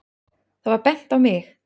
Það var bent á mig.